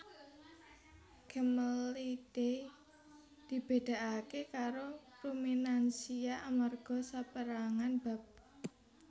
Camelidae dibédakaké karo ruminansia amarga sapérangan bab